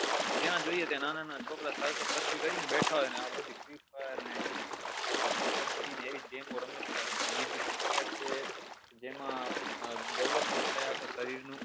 જ્યાં જોઈએ ત્યાં નાના નાના છોકરો circle કરીન બેઠાં હોય અને એ બધી ફ્રી ફાયર પબજી ને game ઓ રમે બધાં બીજુ cricket છે જેમાં development થાય અખા શરીર નું